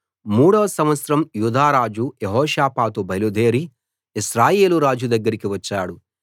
మూడో సంవత్సరం యూదారాజు యెహోషాపాతు బయలుదేరి ఇశ్రాయేలు రాజు దగ్గరికి వచ్చాడు